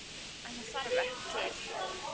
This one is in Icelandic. En það þarf ekki til.